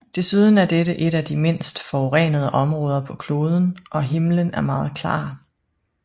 Desuden er dette et af de mindst forurenede områder på kloden og himlen er meget klar